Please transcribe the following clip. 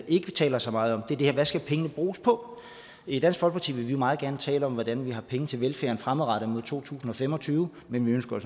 ikke taler så meget om er hvad skal pengene bruges på i dansk folkeparti vil vi meget gerne tale om hvordan der skal være penge til velfærden fremadrettet frem mod to tusind og fem og tyve men vi ønsker